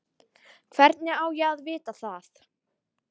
Hvernig á ég að vita það?